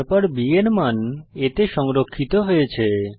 তারপর b এর মান a তে সংরক্ষিত হয়েছে